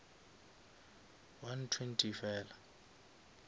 one twenty fela